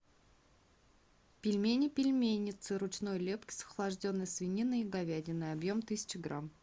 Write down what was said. пельмени пельменница ручной лепки с охлажденной свининой и говядиной объем тысяча грамм